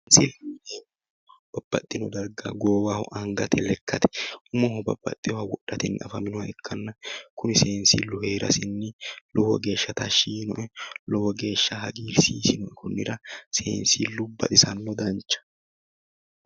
Seensille babbaxino darga goowaho angate lekkate umoho babbaxewoowa wodhatenni afaminoha ikkanna seensillu heerasinni lowo geeshsha tashshi yiinoe lowo geeshsha hagiirsiisinoe konnira seensillu baxisanno danchaho.